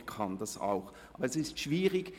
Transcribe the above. Ich kann das auch, aber es ist schwierig.